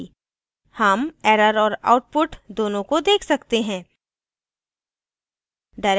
हम error और output दोनों को देख सकते हैं